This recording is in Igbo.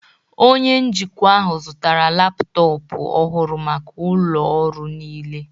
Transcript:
Onye njikwa ahụ zụtara laptọọpụ ọhụrụ maka ụlọ ọrụ niile